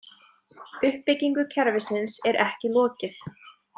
Uppbygginu kerfisins er ekki lokið.